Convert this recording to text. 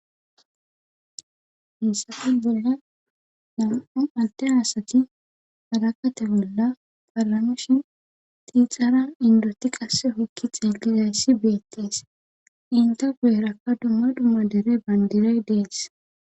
Hissafe bolla nam'u atte hasati hadakate bolla palanoshin tiixaran indoti qasse hokki xeegizayssi beettees inta guyerakka dumma dhumma dere bandiray dees